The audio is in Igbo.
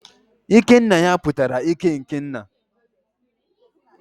ikenaya pụtara ike n'ke nna